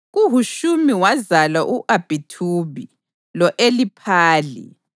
KuHushimi wazala u-Abhithubi lo-Eliphali.